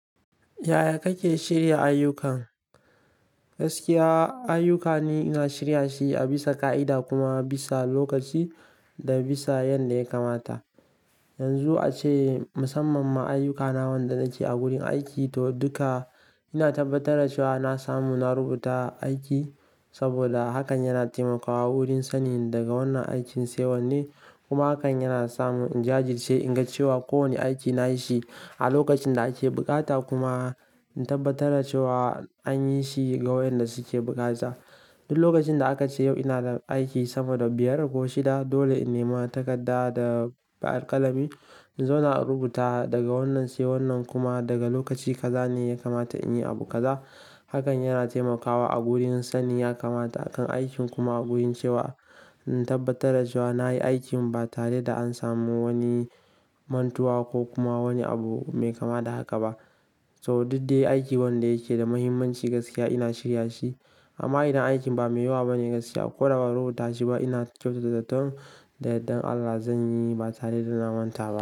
Yaya kake shirya ayyukan? Gaskiya ayyuka ne ina shirya shi a bisa ka'ida kuma bisa lokaci da bisa yanda ya kamata. Yanzu ace musamman ma ayyukana wanda nake a wurin aiki to dukka ina tabbatar da cewa na samu na rubuta aiki saboda hakan yana taimakawa wurin sanin daga wannan aikin sai wannan kuma hakan yana samu in jajirce in ga cewa kowane aiki nayi shi a lokacin da ake bukata kuma in tabbatar da cewa anyi shi ga wayanda suke bukata. Duk lokacin da aka ce yau ina da aiki sama da biyar ko shida dole in nema takarda da alƙalami. Zo na rubuta daga wannan sai wannan kuma daga lokaci kaza ne ya kamata in yi abu kaza. Hakan yana taimakawa a wurin sanin ya kamata akan aikin kuma a wurin cewa in tabbatar da cewa na yi aikin ba tare da an samu wani mantuwa ko kuma wani abu mai kama da haka ba. To duk dai aiki wanda yake da muhimmanci gaskiya ina shirya shi amma idan aikin ba mai yawa bane gaskiya ko da ba a rubuta shi ba ina kyautata zaton da yardan Allah zan yi ba tare da na manta ba.